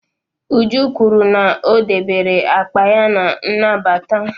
Uju kwuru na o debere akpa ya na nnabata.